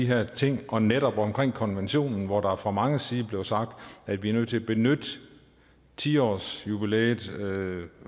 her ting og netop om konventionen hvor der fra mange sider blev sagt at vi er nødt til at benytte ti årsjubilæet